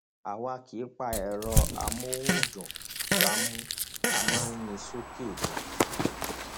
àwa kì í pa ẹrọ amóhùndùngbámú a máa ń yìn ín sókè ni